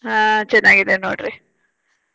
ಹಾ ಚೆನ್ನಾಗಿದ್ದೇನೆ ನೋಡ್ರಿ.